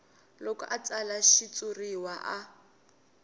loko a tsala xitshuriwa a